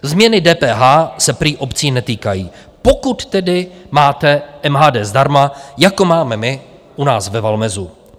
Změny DPH se prý obcí netýkají, pokud tedy máte MHD zdarma, jako máme my u nás ve Valmezu.